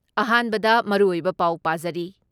ꯑꯍꯥꯟꯕꯗ ꯃꯔꯨꯑꯣꯏꯕ ꯄꯥꯎ ꯄꯥꯖꯔꯤ